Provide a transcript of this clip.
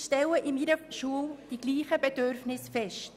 Ich stelle an meiner Schule dieselben Bedürfnisse fest.